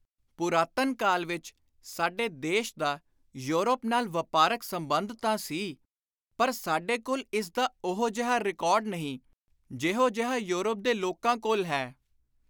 ਪੁਰਾਤਨ ਕਾਲ ਵਿਚ ਸਾਡੇ ਦੇਸ਼ ਦਾ ਯੂਰੋਪ ਨਾਲ ਵਾਪਾਰਕ ਸੰਬੰਧ ਤਾਂ ਸੀ ਪਰ ਸਾਡੇ ਕੋਲ ਇਸ ਦਾ ਉਹੋ ਜਿਹਾ ਰਿਕਾਰਡ ਨਹੀਂ, ਜਿਹੋ ਜਿਹਾ ਯੋਰਪ ਦੇ ਲੋਕਾਂ ਕੋਲ ਹੈ।